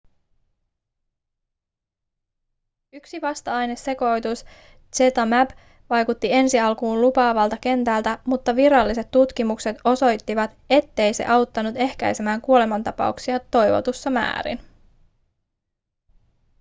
yksi vasta-ainesekoitus zmapp vaikutti ensi alkuun lupaavalta kentällä mutta viralliset tutkimukset osoittivat ettei se auttanut ehkäisemään kuolemantapauksia toivotussa määrin